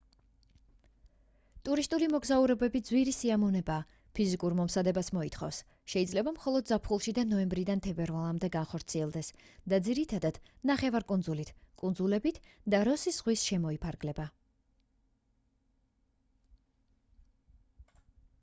ტურისტული მოგზაურობები ძვირი სიამოვნებაა ფიზიკურ მომზადებას მოითხოვს შეიძლება მხოლოდ ზაფხულში და ნოემბრიდან თებერვლამდე განხორციელდეს და ძირითადად ნახევარკუნძულით კუნძულებით და როსის ზღვით შემოიფარგლება